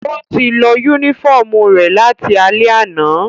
Ó ti lọ yúnífọ̀mù rẹ̀ láti alẹ́ àná